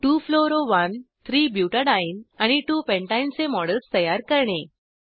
2 fluoro 13 butadiene आणि 2 pentene चे models तयार करणे